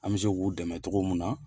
An bɛ se k'u dɛmɛ cogo min na.